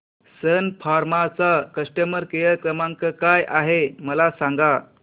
सन Pharma चा customer care क्रमांक काय आहे मला सांगा